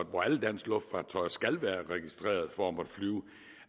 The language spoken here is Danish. hvor alle danske luftfartøjer skal være registreret for